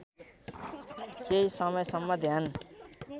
केही समयसम्म ध्यान